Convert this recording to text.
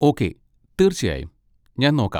Okay, തീർച്ചയായും, ഞാൻ നോക്കാം.